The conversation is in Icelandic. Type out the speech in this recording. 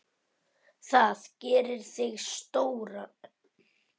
Það gerir þig stóran.